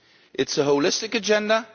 It is a holistic agenda